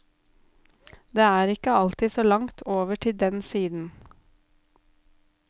Det er ikke alltid så langt over til den siden.